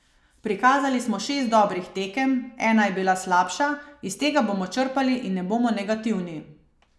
Prikazali smo šest dobrih tekem, ena je bila slabša, iz tega bomo črpali in ne bomo negativni.